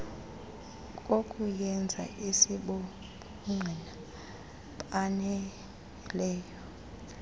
kokuyenza asibobungqina baneleyo